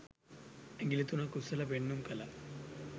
ඇගිලි තුනක් උස්සල පෙන්නුම් කළා